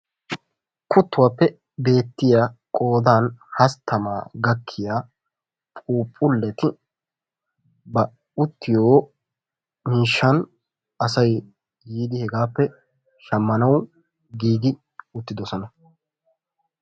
Kuttuwappe beetiya qoodaan hasttamaa gakkiya phuphuleti ba uttiyo miishshan asay yiidi hegaappe shammanawu giigi uttiddossona.